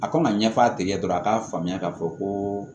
A kan ka ɲɛf'a tigi ye dɔrɔn a k'a faamuya k'a fɔ ko